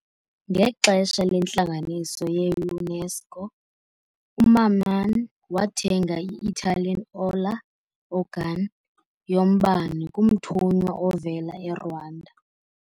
Ngexesha lentlanganiso ye-UNESCO, uMamman wathenga i-Italian Orla organ yombane kumthunywa ovela eRwanda.